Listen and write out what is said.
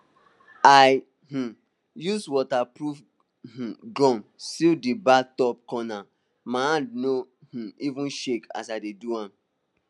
i um use waterproof um gum seal di bathtub cornermy hand no um even shake as i dey do am